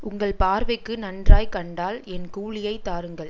உங்கள் பார்வைக்கு நன்றாய்க் கண்டால் என் கூலியைத் தாருங்கள்